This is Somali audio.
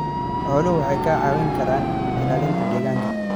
Xooluhu waxay kaa caawin karaan ilaalinta deegaanka.